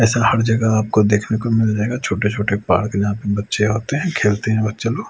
ऐसा हर जगह आपको देखने को मिल जाएगा छोटे छोटे पार्क जहां पे बच्चे आते हैं खेलते हैं बच्चे लोग--